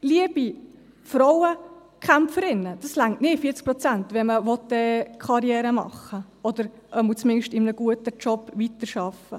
Liebe Frauenkämpferinnen, das reicht nicht, 40 Prozent, wenn man Karriere machen will, oder zumindest in einem guten Job weiterarbeiten möchte!